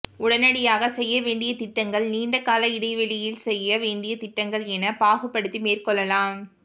உடனடியாக செய்ய வேண்டிய திட்டங்கள் நீண்ட கால இடைவெளியில் செய்ய வேண்டிய திட்டங்கள் என பாகுபடுத்தி மேற்கொள்ளலாம்